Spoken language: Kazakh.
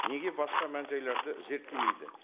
неге басқа мән жайларды зерттемейді